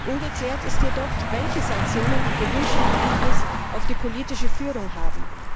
Ungeklärt ist jedoch, welche Sanktionen den gewünschten Einfluss auf die politische Führung haben.